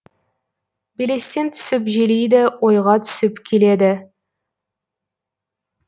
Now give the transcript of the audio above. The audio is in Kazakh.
белестен түсіп желиді ойға түсіп келеді